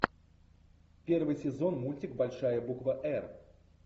первый сезон мультик большая буква р